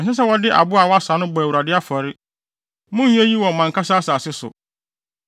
Ɛnsɛ sɛ wɔde aboa a wɔasa no bɔ Awurade afɔre. Monnyɛ eyi wɔ mo ankasa asase so,